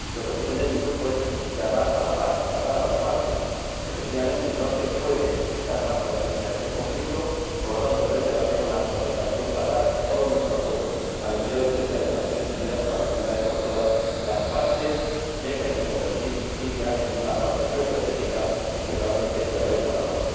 Y lo que pretende mi Grupo es llamar a las partes a la paz. Efectivamente, no se puede echar más gasolina a este conflicto y, por lo tanto, merece la pena una concertación para dar todo nuestro apoyo al Enviado Especial de las Naciones Unidas, para que, de una vez por todas, las partes dejen de convertir a Siria en una cuestión geoestratégica y realmente prevalezca la paz.